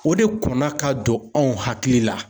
O de kɔn na ka don anw hakili la